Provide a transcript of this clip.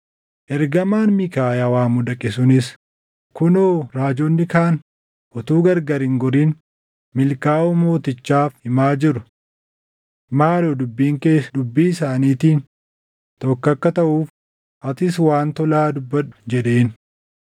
Ergamaan Miikaayaa waamuu dhaqe sunis, “Kunoo raajonni kaan utuu gargar hin gorin milkaaʼuu mootichaaf himaa jiru. Maaloo dubbiin kees dubbii isaaniitiin tokko akka taʼuuf atis waan tolaa dubbadhu” jedheen.